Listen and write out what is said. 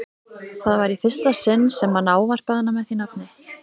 Það var í fyrsta sinn sem hann ávarpaði hana með því nafni.